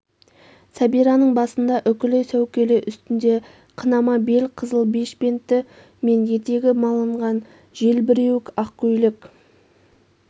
сәбираның басында үкілі сәукеле үстінде қынама бел қызыл бешпенті пен етегі малынған желбіреуік ақ көйлек